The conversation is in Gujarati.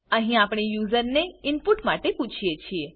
અહી આપણે યુઝરને ઈનપુટ માટે પૂછીએ છીએ